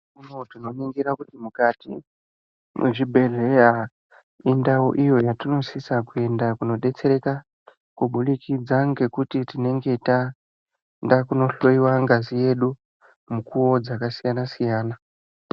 Tinoningira kuti mukati mwezvibhehleya indaubiyo yatinosisa kuenda kunodetsereka kubudikidza ngekuti tinenge taenda kunohlowiwa ngazi yedu mukuwo dzakasiyana -siyana.